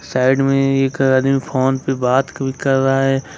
Side में एक आदमी फोन पे बात कर रहा है।